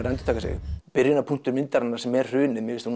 að endurtaka sig byrjunarpunktur myndarinnar sem er hrunið mér finnst